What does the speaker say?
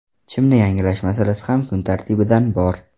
Chimni yangilash masalasi ham kun tartibidan bor.